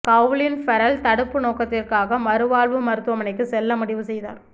Colin Farrell தடுப்பு நோக்கத்திற்காக மறுவாழ்வு மருத்துவமனைக்கு செல்ல முடிவு செய்தார்